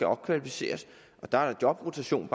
opkvalificeret og der er jobrotationk